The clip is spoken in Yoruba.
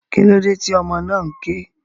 Kílódé tí ọmọ náà ké?